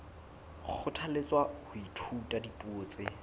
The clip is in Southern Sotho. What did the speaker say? kgothalletswa ho ithuta dipuo tse